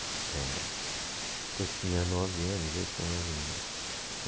É, eu tinha nove anos, oito para nove anos.